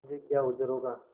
मुझे क्या उज्र होगा